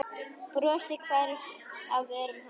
Brosið hvarf af vörum hans.